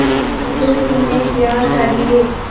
अब तुम्हें क्या चाहिए